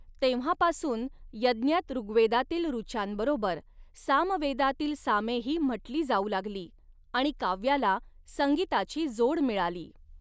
तेव्हापासून यज्ञात ऋग्वेदातील ऋचांबरोबर सामवेदांतील सामेही म्हटली जाऊ लागली, आणि काव्याला संगीताची जोड मिळाली.